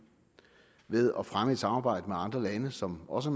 ved at fremme et samarbejde med andre lande som også